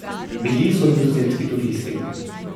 Bili so nizozemski turisti.